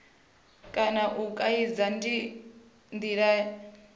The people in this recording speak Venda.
kana u kaidza ndi ndila